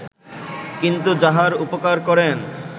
কিন্তু যাহার উপকার করেন